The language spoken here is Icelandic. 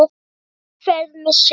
ÖKUFERÐ MEÐ SILLU